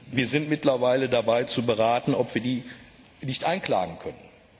Wir sind mittlerweile dabei zu beraten, ob wir diese nicht einklagen können.